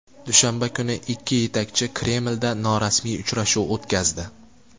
Dushanba kuni ikki yetakchi Kremlda norasmiy uchrashuv o‘tkazdi.